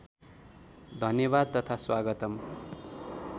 धन्यवाद तथा स्वागतम्